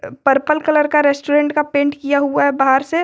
purple colour का restaurant का paint किया हुआ है बाहर से औ--